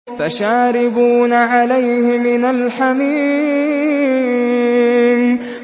فَشَارِبُونَ عَلَيْهِ مِنَ الْحَمِيمِ